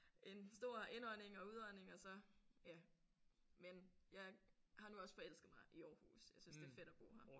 En stor indånding og udånding og så ja. Men jeg har nu også forelsket mig i Aarhus jeg synes det er fedt at bo her